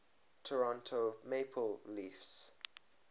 toronto maple leafs